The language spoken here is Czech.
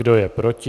Kdo je proti?